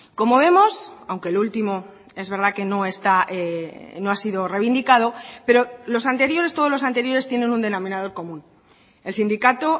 como vemos aunque lo último es verdad que no está no ha sido reivindicado pero los anteriores todos los anteriores tienen un denominador común el sindicato